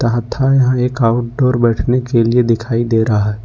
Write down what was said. यहां एक आउटडोर बैठने के लिए दिखाई दे रहा है।